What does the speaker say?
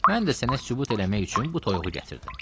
Mən də sənə sübut eləmək üçün bu toyuğu gətirdim.